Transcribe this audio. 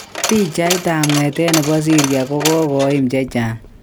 Pichait ap ngetet nepo syria kokoim chenchang